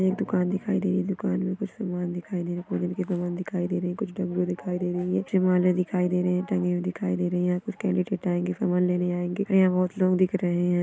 एक दुकान दिखाई दे रही है दुकान मे कुछ समान दिखाई दे रही समान दिखाई दे रही कुछ डमरू दिखाई दे रही है दिखाई दे रहे है टंगी हुई दिखाई दे रही है यहा पर कैंडिडैट आएंगे समान लेने आएंगे अन यहा बहुत लोग दिख रहे है।